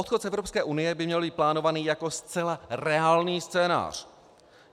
Odchod z Evropské unie by měl být plánovaný jako zcela reálný scénář.